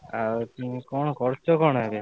ଆଉ ତମେ କଣ କରୁଛ କଣ ଏବେ?